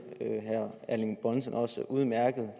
at herre erling bonnesen også udmærket